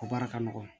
O baara ka nɔgɔn